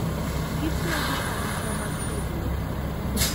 Gitego arita mar weg lope.